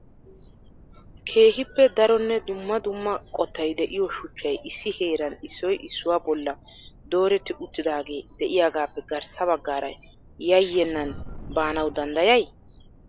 keehippe daronne dumma dumma qottay de'iyo shuchchay issi heeran issoy issuwa bolla dooretti uttidaagee de'iyaagappe garssa baggaara yayyenan baanawu danddayay?